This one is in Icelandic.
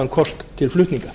kost til flutninga